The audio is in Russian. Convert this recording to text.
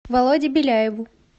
володе беляеву